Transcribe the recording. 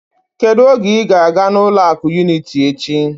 Kedu oge ị ga-aga na ụlọ akụ unịtị echi?